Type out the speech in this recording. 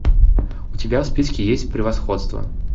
у тебя в списке есть превосходство